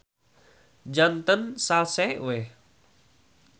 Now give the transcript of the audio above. Janten salse we.